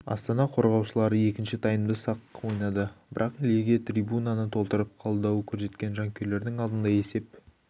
астана қорғаушылары екінші таймда да сақ ойнады бірақ легия трибунаны толтырып қолдау көрсеткен жанкүйерлерінің алдында есеп